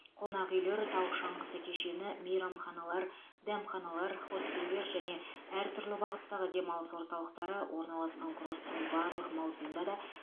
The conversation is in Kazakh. қонақ үйлер тау шаңғысы кешені мейрамханалар дәмханалар хостелдер және әртүрлі бағыттағы демалыс орталықтары орналасқан курорттың барлық маусымда да